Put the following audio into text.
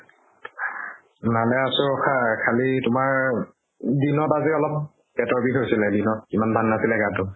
ভালে আছো ৰখা, খালি তোমাৰ দিনত আজি অলপ পেটৰ বিষ হৈছে দিনত। ইমান ভাল নাছিলে গাটো।